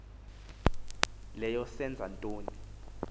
leyo senza ntoni